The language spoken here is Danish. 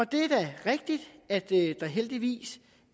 det er da rigtigt at der heldigvis